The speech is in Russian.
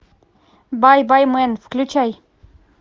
бай бай мэн включай